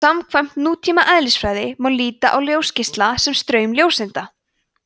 samkvæmt nútíma eðlisfræði má líta á ljósgeisla sem straum ljóseinda